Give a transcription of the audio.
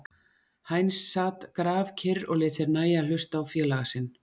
Heinz sat grafkyrr og lét sér nægja að hlusta á félaga sinn.